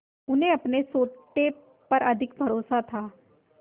उन्हें अपने सोटे पर अधिक भरोसा था